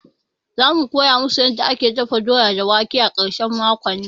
Za mu koya musu yanda ake dafa doya da wake a ƙarshen makon nan